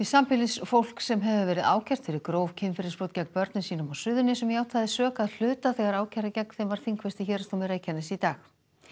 sambýlisfólk sem hefur verið ákært fyrir gróf kynferðisbrot gegn börnum sínum á Suðurnesjum játaði sök að hluta þegar ákæra gegn þeim var þingfest í Héraðsdómi Reykjaness í dag